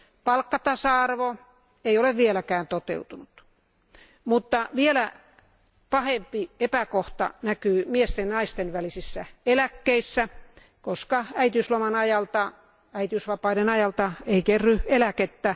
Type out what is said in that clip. Palkkatasa arvo ei ole vieläkään toteutunut, mutta vielä pahempi epäkohta näkyy miesten ja naisten välisissä eläkkeissä, koska äitiysloman ajalta, äitiysvapaiden ajalta, ei kerry eläkettä.